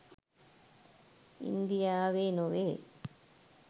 ඉන්දියාවේ නොවේ.